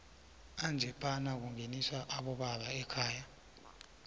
anjephana kungeniswa aboba ekhaya